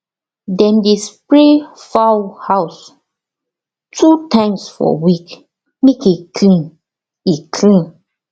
dem dey spray fowl house two times for week make e clean e clean